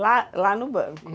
Lá, lá no banco?